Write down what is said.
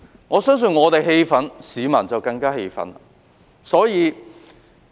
我相信我們氣憤，市民更加氣憤。